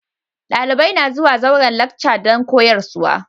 Dalibai na zuwa zauren lacca dan koyarswa.